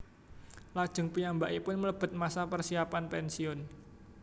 Lajeng piyambakipun mlebet masa persiapan pensiun